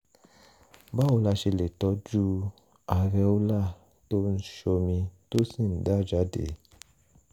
báwo la ṣe lè tọ́jú areola tó ń ṣomi tó sì ń dà jáde?